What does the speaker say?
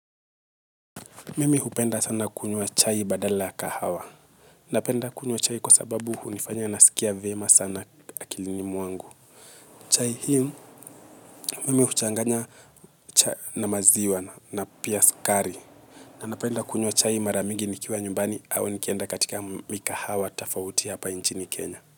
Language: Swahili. Mimi hupenda sana kunywa chai badala kahawa. Napenda kunywa chai kwa sababu hunifanya nasikia vyema sana akilini mwangu. Chai hio mimi huchanganya na maziwa na pia sukari. Na napenda kunywa chai mara mingi nikiwa nyumbani au nikienda katika mikahawa tafauti hapa nchini Kenya.